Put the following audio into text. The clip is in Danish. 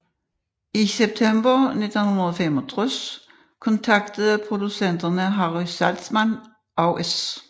I september 1965 kontaktede producenterne Harry Saltzman og S